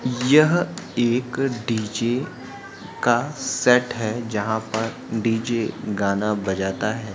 यह एक डी.जे. का सेट है जहाँ पर डी.जे. गाना बजता है।